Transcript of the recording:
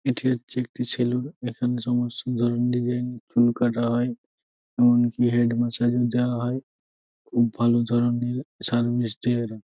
এটি হচ্ছে একটি সেলুন । এখানে সমস্ত ধরনের ডিজাইন চুল কাটা হয় এমনকি হেড মাসাজ ও দেওয়া হয়। ব ভাল ধরনের সার্ভিস দেয় এরা।